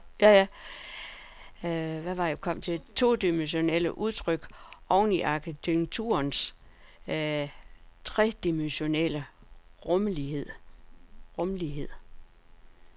Det var dog ikke uden problemer, når kunstneren og arkitekten i forening skulle transformere maleriets todimensionelle udtryk over i arkitekturens tredimensionelle rumlighed.